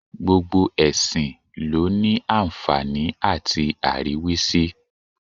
Gbogbo ẹ̀sìn ló àǹfààní àti àríwísí.